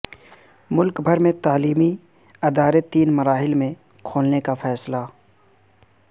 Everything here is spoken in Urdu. ملک بھر میں تعلیمی ادارے تین مراحل میں کھولنے کا فیصلہ